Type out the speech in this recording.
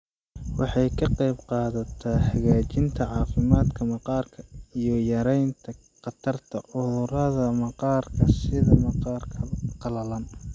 Waxay ka qaybqaadataa hagaajinta caafimaadka maqaarka iyo yaraynta khatarta cudurrada maqaarka sida maqaarka qalalan.